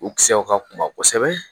U kisɛw ka kunba kosɛbɛ